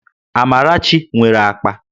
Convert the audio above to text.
Amarachi nwere akpa